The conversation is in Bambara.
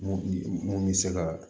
Mun mun bɛ se ka